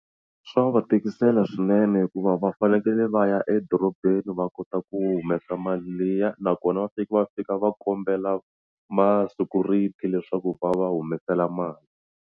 Swa va tikisela swinene hikuva va fanekele va ya edorobeni va kota ku humesa mali liya nakona va fika va fika va kombela ma-security leswaku va va humesela mali.